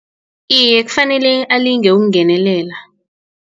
Iye, kufanele alinge ukungenelela.